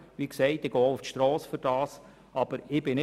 Wie gesagt, gehe ich auch dafür auf die Strasse.